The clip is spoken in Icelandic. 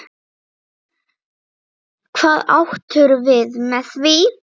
Hvað áttirðu við með því?